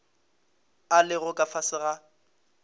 a lego ka fase ga